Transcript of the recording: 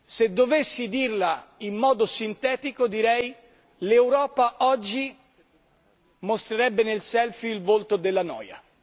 se dovessi dirla in modo sintetico direi che l'Europa oggi mostrerebbe nel selfie il volto della noia.